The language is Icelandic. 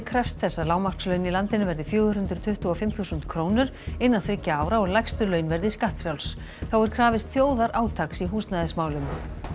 krefst þess að lágmarkslaun í landinu verði fjögur hundruð tuttugu og fimm þúsund krónur innan þriggja ára og lægstu laun verði skattfrjáls þá er krafist þjóðarátaks í húsnæðismálum